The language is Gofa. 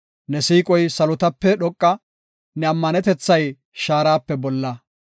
Ne siiqoy salotape dhoqa; ne ammanetethay shaarape bolla.